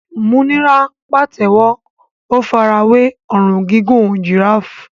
Múnírá pàtẹ́wọ́, ó fara wé ọrùn gígùn giraffe.